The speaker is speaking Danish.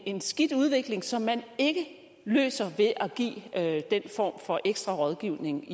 en skidt udvikling som man ikke løser ved at give den form for ekstra rådgivning